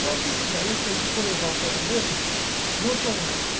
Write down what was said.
Só que isso daí, se a gente for levar o pé da letra, não são anjos.